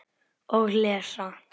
Og lesa.